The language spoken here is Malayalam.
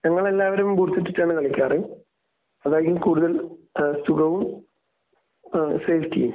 ഞങ്ങൾ എല്ലാവരും ബൂട്സ് ഇട്ടിട്ടാണ് കളിക്കാറ്. അതായിരിക്കും കൂടുതൽ ഏഹ് സുഖവും ഏഹ് സേഫ്റ്റിയും.